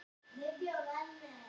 Teymir mig á bak við búðarborð.